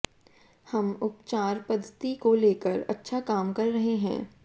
हम उपचार पद्धति को लेकर अच्छा काम कर रहे हैं